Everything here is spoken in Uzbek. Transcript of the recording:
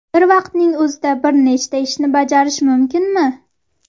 Bir vaqtning o‘zida bir nechta ishni bajarish mumkinmi?